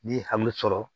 N'i ye hami sɔrɔ